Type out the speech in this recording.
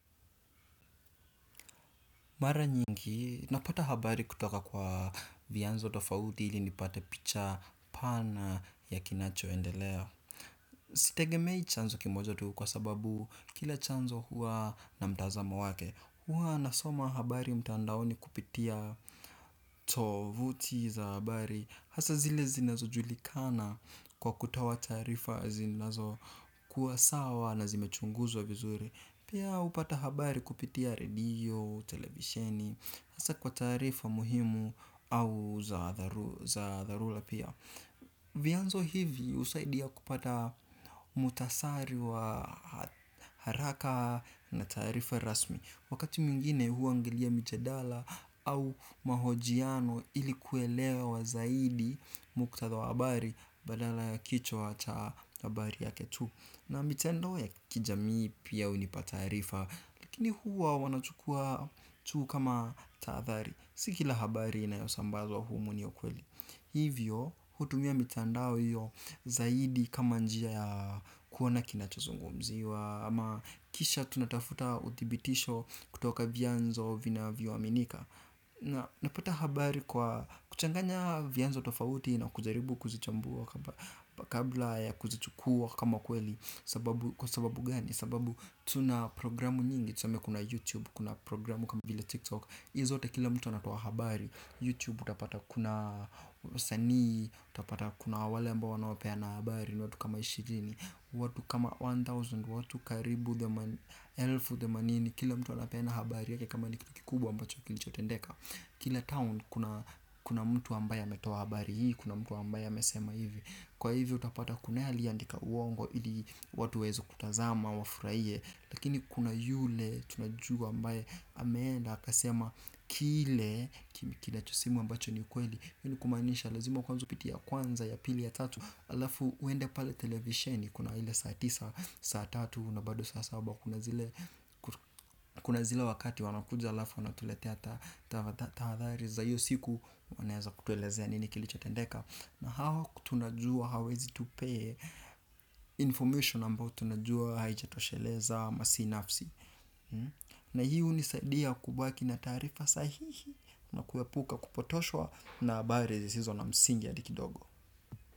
Mara nyingi, napata habari kutoka kwa viyanzo tofaudi ili nipata picha pana ya kinachoendelea. Sitegemei chanzo kimoja tu kwa sababu kila chanzo huwa na mtazamo wake. Huwa nasoma habari mtandaoni kupitia tovuti za habari. Hasa zile zinazo julikana kwa kutowa tarifa zinazo kuwa sawa na zimechunguzwa vizuri. Pia upata habari kupitia radio, televisieni, hasa kwa tarifa muhimu au za dharula pia. Vyanzo hivi usaidia kupata mutasari wa haraka na tarifa rasmi. Wakati muingine huangilia mijadala au mahojiano ilikuwelewa zaidi mkutdawa habari badala ya kichwa cha habari yake tu. Na mitendo ya kijamii pia unipatarifa. Lakini huwa wanachukua tu kama tahadhari si kila habari inayo sambazwa humu ni ya kweli hivyo hutumia mitandao hiyo zaidi kama njia ya kuona kinacho zungumziwa ama kisha tunatafuta uthibitisho kutoka vianzo vinavyo aminika. Napata habari kwa kuchanganya vianzo tofauti na kujaribu kuzichambuwa kabla ya kuzichukuwa kama kweli. Sababu kwa sababu gani sababu tuna progiramu nyingi tuseme kuna youtube kuna programu kama vila tiktok. Izi zote kila mtu anatowa habari Youtube utapata kuna wasanii, utapata kuna wale ambao wanao peana habari ni watu kama ishirini. Watu kama elfu moja watu karibu elfu themanini kila mtu anapeana habari yake kama ni kitu kikubwa ambacho kilichotendeka. Kile town kuna mtu ambaye ametoa habari hii. Kuna mtu ambaye amesema hivi. Kwa hivyo utapata kunaye aliye andika uongo ili watu waeze kutazama wa furahie. Lakini kuna yule tunajua ambae ameenda aka sema kile kina chosemwa ambacho ni ukweli hii nikumaanisha lazima kwanza upitie ya kwanza ya pili ya tatu. Alafu uende pale televisheni kuna ile saa tisa saa tatu na bado saa saba, kuna zile kuna zile wakati wanakuja alafu wanatuletea tahadhari za hiyo siku wanaeza kutuelezea nini kilicho tendeka na hawa tunajuwa hawezi tupee information ambao tunajuwa haijatosheleza ama si nafsi na hunisaidia kubaki na taarifa sahihi na kuepuka kupotoshwa na habari zisizo na msingi hadi kidogo.